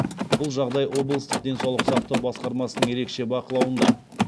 бұл жағдай облыстық денсаулық сақтау басқармасының ерекше бақылауында